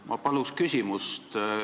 Ma tahan küsida.